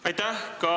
Aitäh!